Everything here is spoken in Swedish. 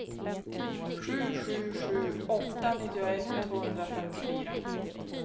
sju sju sju åtta nittioett tvåhundrafemtiofyra